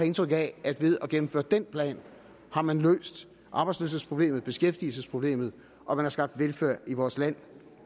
indtryk af at ved at gennemføre den plan har man løst arbejdsløshedsproblemet beskæftigelsesproblemet og man har skabt velfærd i vores land